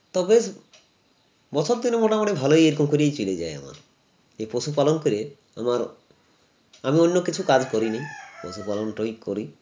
তো বেশ বছর দিন মোটামুটি ভালোই এরকম করেই চলে যায় আমার এ পশুপালন করে আমার আমি অন্য কিছু কাজ করিনি পশুপালনটই করি